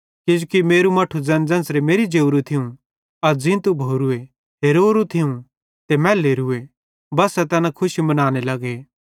किजोकि मेरू मट्ठू ज़ैन ज़ेन्च़रे मेरि जोरू थियूं अज़ ज़ींतू भोरूए हेरोरू थियो ते मैलोरूए बस्सा तैना खुशी मनाने लगे